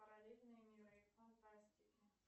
параллельные миры фантастики